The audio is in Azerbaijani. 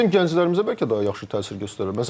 Bəs bizim gənclərimizə bəlkə daha yaxşı təsir göstərəcək?